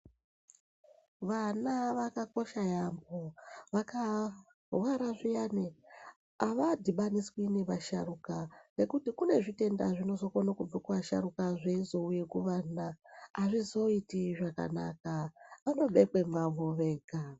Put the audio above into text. Vana vakakosha yaamho vakarwara zviyani avadhibaniswi nevasharukwa ngekuti kune zvitenda zvinozokone kubve kuasharukwa zveizouya kuvana azvizoiti zvakanaka vanobekwe mavo vega.